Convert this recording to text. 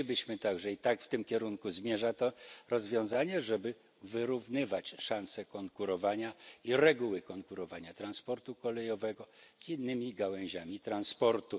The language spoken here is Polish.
Chcielibyśmy także i w tym kierunku zmierza to rozwiązanie wyrównywać szanse konkurowania i reguły konkurowania transportu kolejowego z innymi gałęziami transportu.